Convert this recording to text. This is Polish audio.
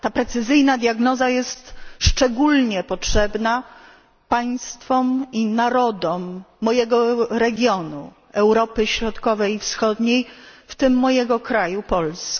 Ta precyzyjna diagnoza jest szczególnie potrzebna państwom i narodom mojego regionu Europy Środkowej i Wschodniej, w tym mojego kraju Polski.